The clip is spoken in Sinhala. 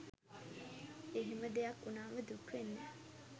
එහෙම දෙයක් උනාම දුක් වෙන්න